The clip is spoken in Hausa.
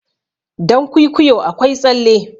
dankwikwiyo akwai tsalle